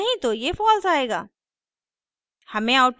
नहीं तो ये false आएगा